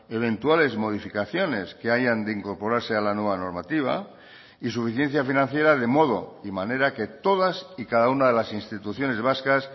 eventuales modificaciones que hayan de incorporarse a la nueva normativa y suficiencia financiera de modo y manera que todas y cada una de las instituciones vascas